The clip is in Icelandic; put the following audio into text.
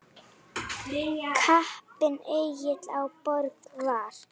Kappinn Egill á Borg var.